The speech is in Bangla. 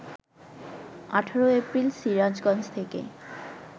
১৮ এপ্রিল সিরাজগঞ্জ থেকে